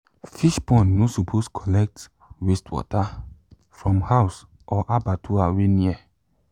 fish pond no suppose collect wastewater from house or abattoir wey near